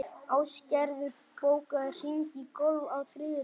Æsgerður, bókaðu hring í golf á þriðjudaginn.